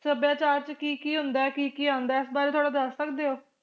ਸੱਭਿਆਚਾਰ ਚ ਕਿ ਕਿ ਹੁੰਦਾ ਕਿ ਕਿ ਆਂਦਾ ਇਸ ਬਾਰੇ ਥੋੜਾ ਦਸ ਸਕਦੇ ਓ